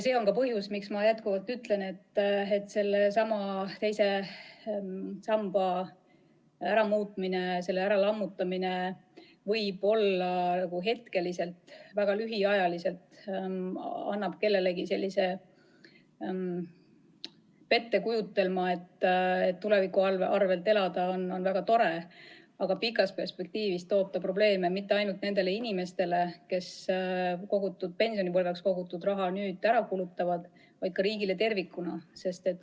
See on ka põhjus, miks ma jätkuvalt ütlen, et II samba lammutamine tekitab võib-olla hetkeliselt, väga lühiajaliselt kelleski pettekujutelma, et tuleviku arvel elada on väga tore, aga pikas perspektiivis ei too see probleeme mitte ainult nendele inimestele, kes pensionipõlveks kogutud raha varem ära kulutavad, vaid ka riigile tervikuna.